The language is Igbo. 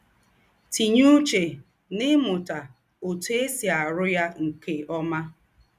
Tínye úchè n’ímụta òtú è sì àrụ́ yà nke ọ́má.